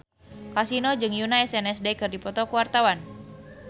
Kasino jeung Yoona SNSD keur dipoto ku wartawan